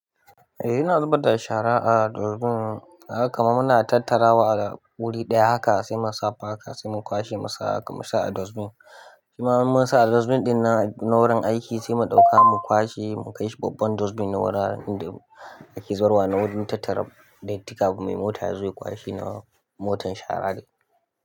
Eh, ina zubar da shara a dustbin. Haka kuma muna tattarawa a wuri ɗaya, haka sai mu sa faka sai mu kwashe mu sa a dustbin. Kima mun sa a dustbin ɗin na wurin aiki sai mu ɗauka mu kwashe mu kai shi babban dustbin na wuraren da ake zubarwa na wurin tattara datti kafin mai mota ya zo ya kwashe na motar shara ɗai.